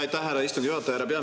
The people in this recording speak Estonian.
Aitäh, härra istungi juhataja!